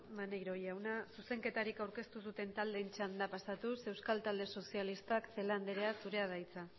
maneiro jauna zuzenketari aurkeztu duten taldeen txanda pasatuz euskal talde sozialistak celaá andrea zurea da hitza